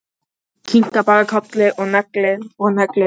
Kinkar bara kolli og neglir og neglir.